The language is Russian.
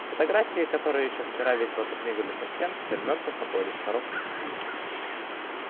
фотографии которые ещё вчера весело подмигивали со стен теперь мертво покоились в коробках